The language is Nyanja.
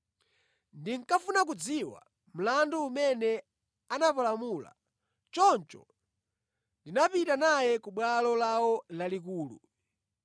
Ndinkafuna kudziwa mlandu umene anapalamula, choncho ndinapita naye ku Bwalo lawo Lalikulu.